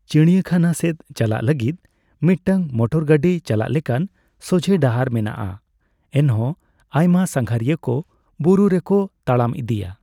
ᱪᱤᱲᱤᱭᱟᱹᱠᱷᱟᱱᱟ ᱥᱮᱫ ᱪᱟᱞᱟᱜ ᱞᱟᱹᱜᱤᱫ ᱢᱤᱫᱴᱟᱝ ᱢᱚᱴᱚᱨᱜᱟᱹᱰᱤ ᱪᱟᱞᱟᱜ ᱞᱮᱠᱟᱱ ᱥᱚᱡᱷᱮ ᱰᱟᱦᱟᱨ ᱢᱮᱱᱟᱜᱼᱟ, ᱮᱱᱦᱚᱸ ᱟᱭᱢᱟ ᱥᱟᱸᱜᱷᱟᱨᱤᱭᱟᱹᱠᱚ ᱵᱩᱨᱩ ᱨᱮᱠᱚ ᱛᱟᱲᱟᱢ ᱤᱫᱤᱭᱟ ᱾